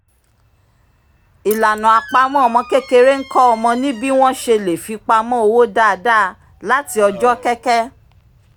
ìlànà àpamọ́ ọmọ kékeré ń kọ́ ọmọ ní bí wọ́n ṣe le fipamọ́ owó dáadáa láti ọjọ́ kẹ́kẹ́